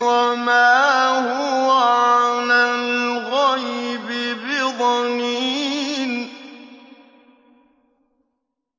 وَمَا هُوَ عَلَى الْغَيْبِ بِضَنِينٍ